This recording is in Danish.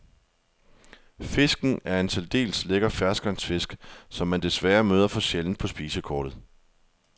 Fisken er en særdeles lækker ferskvandsfisk, som man desværre møder for sjældent på spisekortet.